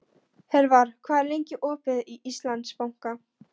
Hervar, hvað er lengi opið í Íslandsbanka?